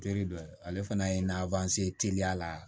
Teri dɔ ale fana ye teliya la